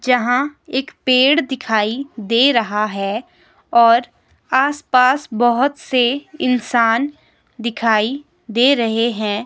जहां एक पेड़ दिखाई दे रहा है और आस पास बहोत से इंसान दिखाई दे रहे हैं।